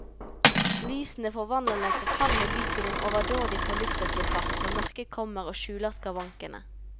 Lysene forvandler den forfalne by til en overdådig forlystelsespark når mørket kommer og skjuler skavankene.